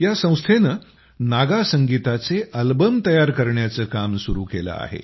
या संस्थेंनं नागा संगीताचे अल्बम आणण्याचं काम सुरू केलं आहे